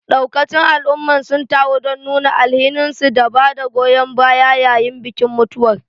Daukacin al'ummar sun taru don nuna alhininsu da bada goyon baya yayin bikin mutuwar.